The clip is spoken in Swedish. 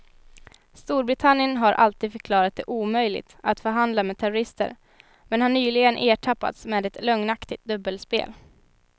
Storbritannien har alltid förklarat det omöjligt att förhandla med terrorister men har nyligen ertappats med ett lögnaktigt dubbelspel.